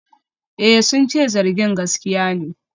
Eh, sun ce zargin gaskiya ne.